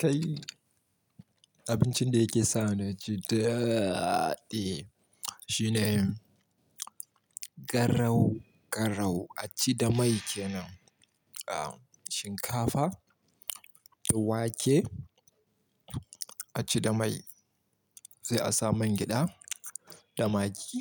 Kai abincin da yake sa ni ji daɗi shine garau garau a ci da mai kenan, shinkafa da wake a ci da mai, sai a sa man gyaɗa da magi